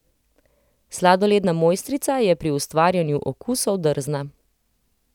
Sladoledna mojstrica je pri ustvarjanju okusov drzna.